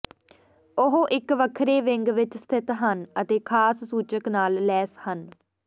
ਉਹ ਇੱਕ ਵੱਖਰੇ ਵਿੰਗ ਵਿੱਚ ਸਥਿਤ ਹਨ ਅਤੇ ਖਾਸ ਸੂਚਕ ਨਾਲ ਲੈਸ ਹਨ